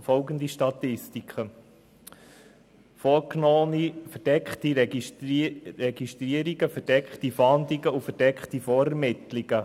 Folgende Statistiken sind Inhalt: vorgenommene verdeckte Registrierungen, verdeckte Fahndungen und verdeckte Vorermittlungen.